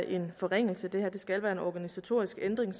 en forringelse det her det skal være en organisatorisk ændring